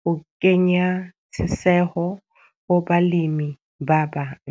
ho kenya tjheseho ho balemi ba bang.